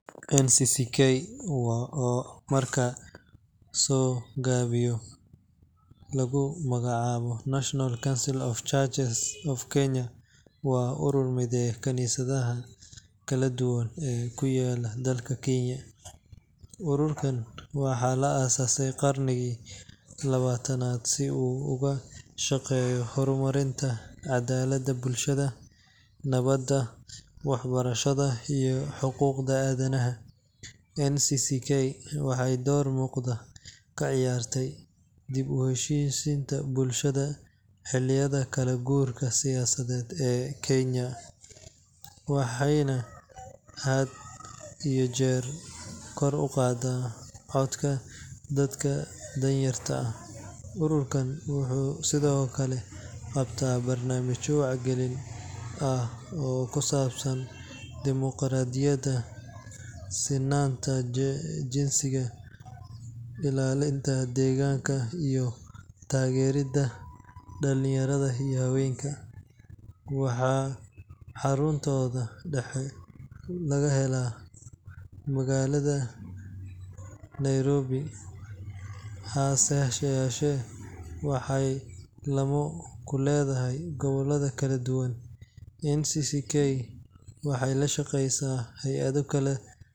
NCCK oo marka la soo gaabiyo lagu magacaabo National Council of Churches of Kenya, waa urur mideeya kaniisadaha kala duwan ee ku yaal dalka Kenya. Ururkan waxaa la aasaasay qarnigii labaatanaad si uu uga shaqeeyo horumarinta cadaaladda bulshada, nabadda, waxbarashada iyo xuquuqda aadanaha. NCCK waxay door muuqda ka ciyaartay dib u heshiisiinta bulshada xilliyada kala guurka siyaasadeed ee Kenya, waxayna had iyo jeer kor u qaadaa codka dadka danyarta ah. Ururkan wuxuu sidoo kale qabtaa barnaamijyo wacyigelin ah oo ku saabsan dimuqraadiyadda, sinnaanta jinsiga, ilaalinta deegaanka iyo taageeridda dhalinyarada iyo haweenka. Waxaa xaruntooda dhexe laga helaa magaalada Nairobi, hase yeeshee waxay laamo ku leeyihiin gobollo kala duwan. NCCK waxay la shaqeysaa hay'ado kale .